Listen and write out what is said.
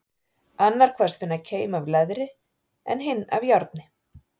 Annar kvaðst finna keim af leðri, en hinn af járni.